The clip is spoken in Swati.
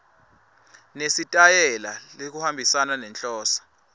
nesitayela lokuhambisana nenhloso